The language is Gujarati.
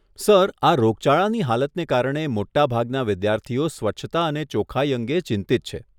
સર, આ રોગચાળાની હાલતને કારણે, મોટાભાગના વિદ્યાર્થીઓ સ્વચ્છતા અને ચોક્ખાઈ અંગે ચિંતિત છે.